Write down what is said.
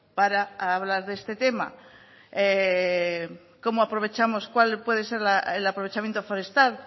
para hablar de este tema cómo aprovechamos cuál puede ser el aprovechamiento forestal